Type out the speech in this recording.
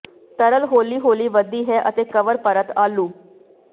ਤਰਲ ਹੌਲੀ ਹੌਲੀ ਵੱਧਦੀ ਹੈ ਅਤੇ ਕਵਰ ਪਰਤ ਆਲੂ